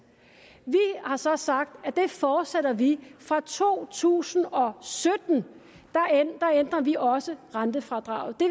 vi har så sagt at det fortsætter vi fra to tusind og sytten der ændrer vi også rentefradraget det